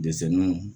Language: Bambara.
Dɛsɛnniw